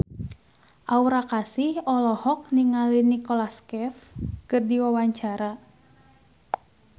Aura Kasih olohok ningali Nicholas Cafe keur diwawancara